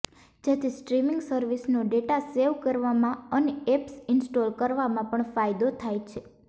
જેથી સ્ટ્રીમીંગ સર્વિસનો data save કરવામા અને એપ્સ ઈન્સ્ટોલ કરવામાં પણ ફાયદો થાય છે